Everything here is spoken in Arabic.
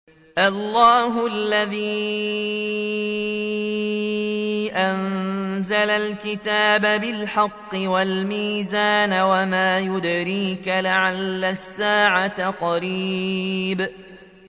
اللَّهُ الَّذِي أَنزَلَ الْكِتَابَ بِالْحَقِّ وَالْمِيزَانَ ۗ وَمَا يُدْرِيكَ لَعَلَّ السَّاعَةَ قَرِيبٌ